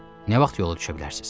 Nə vaxt yola düşə bilərsiz?